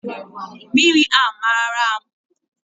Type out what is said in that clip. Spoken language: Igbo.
Mmiri mara m